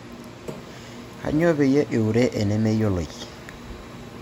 Knayio peyie iure inemeyioloi?